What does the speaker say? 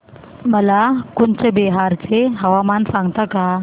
मला कूचबिहार चे हवामान सांगता का